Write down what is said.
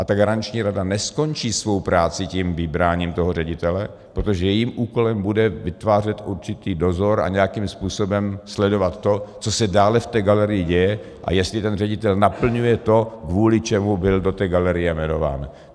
A ta Garanční rada neskončí svou práci tím vybráním toho ředitele, protože jejím úkolem bude vytvářet určitý dozor a nějakým způsobem sledovat to, co se dále v té galerii děje a jestli ten ředitel naplňuje to, kvůli čemu byl do té galerie jmenován.